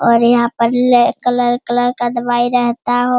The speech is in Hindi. और यहां पर ले कलर कलर का दवाई रेहता हो।